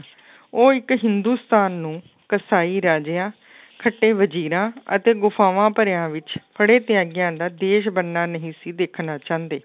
ਉਹ ਇੱਕ ਹਿੰਦੁਸਤਾਨ ਨੂੰ ਕਸਾਈ ਰਾਜਿਆਂ ਖੱਟੇ ਵਜ਼ੀਰਾਂ ਅਤੇ ਗੁਫ਼ਾਫ਼ਾਂ ਭਰਿਆਂ ਵਿੱਚ ਫੜੇ ਤਿਆਗਿਆਂ ਦਾ ਦੇਸ ਬਣਨਾ ਨਹੀਂ ਸੀ ਦੇਖਣਾ ਚਾਹੁੰਦੇ।